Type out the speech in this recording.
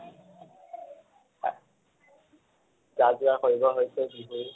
যাজোগাৰ কৰিব হৈছে বিহুৰ